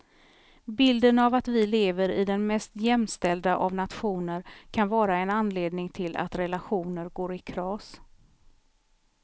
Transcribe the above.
Bilden av att vi lever i den mest jämställda av nationer kan vara en anledning till att relationer går i kras.